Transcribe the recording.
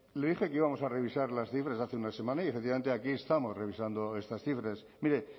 le dije que íbamos a revisar las cifras hace una semana y efectivamente aquí estamos revisando estas cifras mire